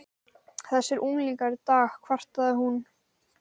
Þessir unglingar í dag kvartaði hún.